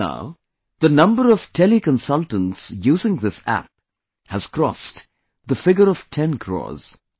Till now, the number of teleconsultants using this app has crossed the figure of 10 crores